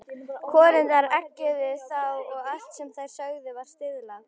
Konurnar eggjuðu þá og allt sem þær sögðu var stuðlað.